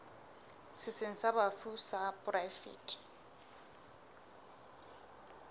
setsheng sa bafu sa poraefete